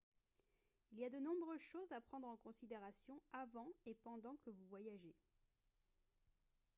il y a de nombreuses choses à prendre en considération avant et pendant que vous voyagez